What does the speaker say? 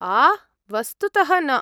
आह्, वस्तुतः न।